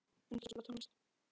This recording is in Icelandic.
Unnsteinn, spilaðu tónlist.